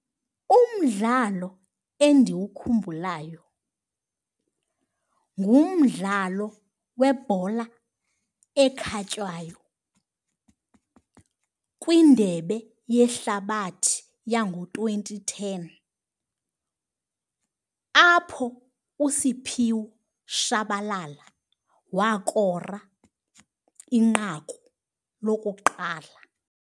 Umdlalo endiwukhumbulayo ngumdlalo webhola ekhatywayo kwindebe yehlabathi yango-twenty ten apho uSiphiwe Tshabalala wakora inqaku lokuqala.